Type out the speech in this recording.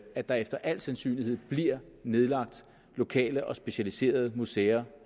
at der efter al sandsynlighed bliver nedlagt lokale og specialiserede museer